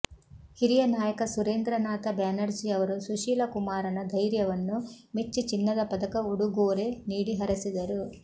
ಹಿರಿಯ ನಾಯಕ ಸುರೇಂದ್ರನಾಥ ಬ್ಯಾನರ್ಜಿಯವರು ಸುಶೀಲಕುಮಾರನ ಧೈರ್ಯವನ್ನು ಮೆಚ್ಚಿ ಚಿನ್ನದ ಪದಕ ಉಡುಗೋರೆ ನೀಡಿ ಹರಸಿದರು